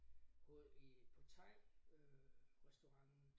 På i på thairestauranten